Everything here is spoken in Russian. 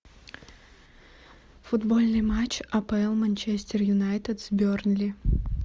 футбольный матч апл манчестер юнайтед с бернли